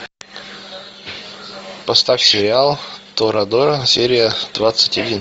поставь сериал тора дора серия двадцать один